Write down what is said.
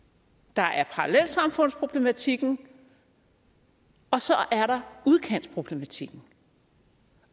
der er parallelsamfundsproblematikken og så er der udkantsproblematikken